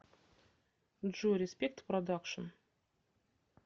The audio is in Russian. джой респект продакшн